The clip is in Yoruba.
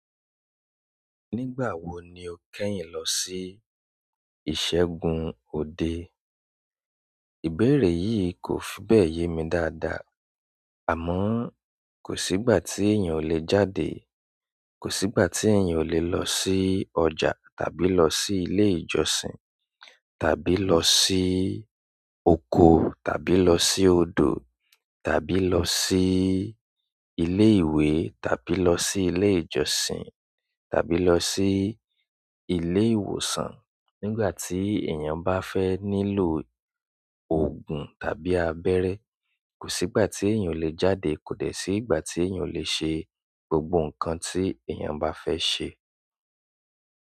Nígbà wo ni o kẹ́yìn lọ sí ìṣẹ́gun òde? Ìbéèrè yìí kò fi bẹ́ẹ̀ yé mi dáadáa. Àmọ́, kò sí ìgbà tí èèyàn ò le jáde, kò sí ìgbà tí èèyàn ò le lọ sí ọjà, tàbí lọ sí ilé ìjọsìn, tàbí lọ sí oko, tàbí lọ sí odò, tàbí lọ sí ilé ìwé, tàbí lọ sí ilé ìjọsìn, tàbí lọ sí ilé ìwòsàn. Nígbà tí èèyàn bá fẹ́ nílò òògùn tàbí abẹ́rẹ́, kò sí ìgbà tí èèyàn ò le jáde, kò dẹ́ sí ìgbà tí èèyàn ò le ṣe gbogbo nǹkan tí èèyàn bá fẹ́ ṣe.